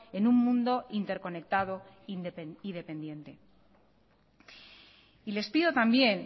en un mundo interconectado y dependiente y les pido también